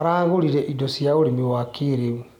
Aragũrire indo cia ũrĩmi wa kĩrĩu.